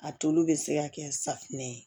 A tulu bɛ se ka kɛ safunɛ ye